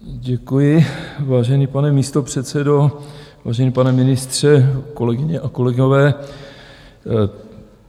Děkuji, vážený pane místopředsedo, vážený pane ministře, kolegyně a kolegové.